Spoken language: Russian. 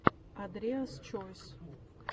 андреас чойс